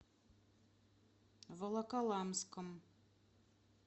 волоколамском